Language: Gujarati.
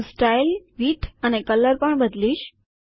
હું સ્ટાઈલ વિદ્થ અને કલર પણ બદલીશ